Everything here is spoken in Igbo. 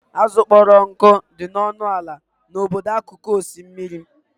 Azụ kpọrọ nkụ dị ọnụ ala n'obodo akụkụ osimiri.